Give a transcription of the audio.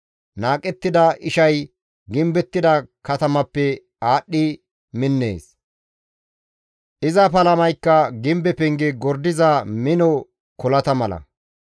Qohettida ishay gimbettida katamappe aadhdhi minnees; iza palamaykka gimbe penge gordiza mino kolata mala.